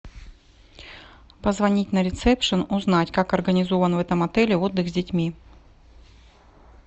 позвонить на ресепшен узнать как организован в этом отеле отдых с детьми